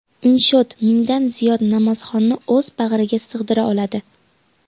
Inshoot mingdan ziyod namozxonni o‘z bag‘riga sig‘dira oladi.